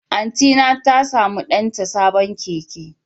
Antyna ta samu danta sabon keke.